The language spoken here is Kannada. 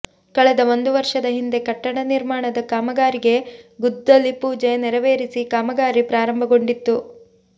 ಕಳೆದ ಒಂದು ವರ್ಷದ ಹಿಂದೆ ಕಟ್ಟಡ ನಿರ್ಮಾಣದ ಕಾಮಗಾರಿಗೆ ಗುದ್ದಲಿ ಪೂಜೆ ನೆರವೇರಿಸಿ ಕಾಮಗಾರಿ ಪ್ರಾರಂಭಗೊಂಡಿತ್ತು